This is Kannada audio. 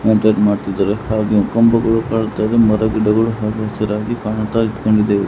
ಹಾಗೆಯೇ ಕಂಬಗಳು ಕಾಣ್ತಾ ಇವೆ ಮರ ಗಿಡಗಳು ಹಚ್ಚ ಹಸಿರಾಗಿ ಕಾಣ್ತಾ--